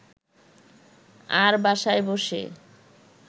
আর বাসায় বসে